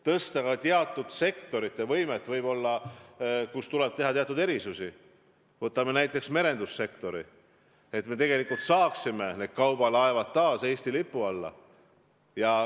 Võib-olla tuleb teatud sektorites teha teatud erisusi, võtame näiteks merendussektori, kus me tahame tuua kaubalaevad taas Eesti lipu alla.